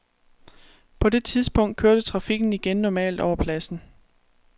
På det tidspunkt kørte trafikken igen normalt over pladsen.